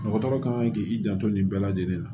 Dɔgɔtɔrɔ kan k'i janto nin bɛɛ lajɛlen la